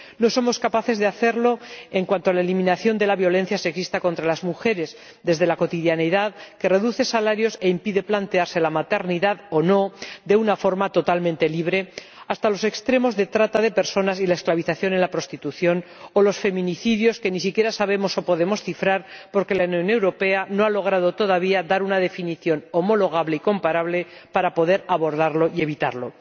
No somos capaces de hacerlo, empezando por la eliminación de la violencia sexista contra las mujeres desde la cotidianeidad que reduce salarios e impide plantearse la maternidad o no de una forma totalmente libre hasta los extremos de trata de personas y la esclavización en la prostitución o los feminicidios que ni siquiera sabemos o podemos cifrar porque la Unión Europea no ha logrado todavía dar una definición homologable y comparable para poder abordarlos y evitarlos.